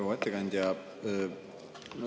Proua ettekandja!